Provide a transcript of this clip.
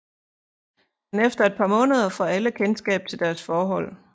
Men efter et par måneder får alle kendskab til deres forhold